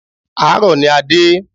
Àárọ̀ ní a dé.